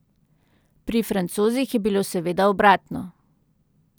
Pri Francozih je bilo seveda obratno.